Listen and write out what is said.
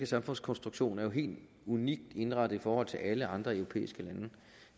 samfundskonstruktionen en helt unik indretning i forhold til alle andre europæiske lande